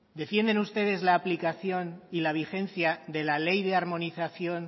defienden ustedes la aplicación y la vigencia del ley de armonización